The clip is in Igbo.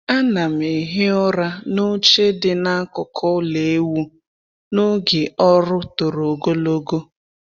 A na'm ehi ụra n’oche dị n’akụkụ ulọ ewu n’oge ọrụ toro ogologo.